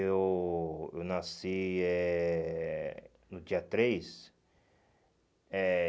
Eu eu nasci eh no dia três. Eh